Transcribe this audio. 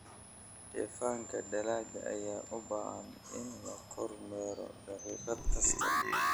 Dheefanka dalagga ayaa u baahan in la kormeero daqiiqad kasta.